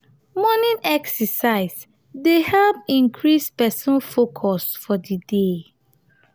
morning exercise dey help increase person focus for di day